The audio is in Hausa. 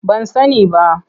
Ban sani ba.